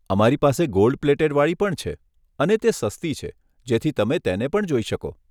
અમારી પાસે gold plated વાળી પણ છે અને તે સસ્તી છે, જેથી તમે તેને પણ જોઈ શકો.